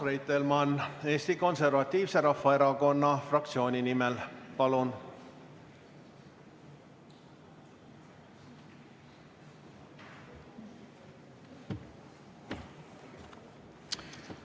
Urmas Reitelmann Eesti Konservatiivse Rahvaerakonna fraktsiooni nimel, palun!